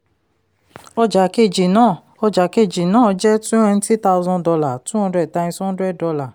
ọjà kejì náà ọjà kejì náà jẹ́ twenty thousand dollar two hundred times hundred dollar.